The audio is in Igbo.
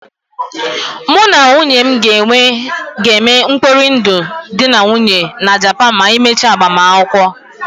Mụ na nwunye m ga-eme mkpori ndụ dị na nwunye na Japan ma anyị mechie agbamakwụkwọ.